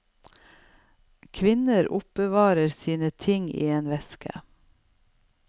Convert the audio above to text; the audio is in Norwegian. Kvinner oppbevarer sine ting i en veske.